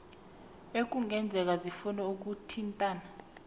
ekungenzeka sifune ukuthintana